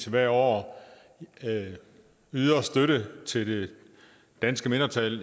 hvert år yder støtte til det danske mindretal